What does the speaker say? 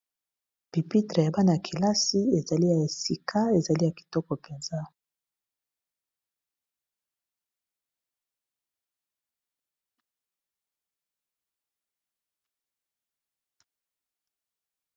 Pipitre ya bana ya kelasi, ezali ya sika, ezali ya kitoko mpenza.